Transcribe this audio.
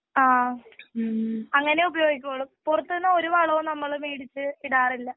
ആ ഉം അങ്ങനെയേ ഉപയോഗിക്കുവൊള്ളൂ പുറത്തു നിന്ന് ഒരു വളവും നമ്മള് മേടിച്ചു ഇടാറില്ല.